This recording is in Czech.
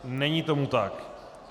Není tomu tak.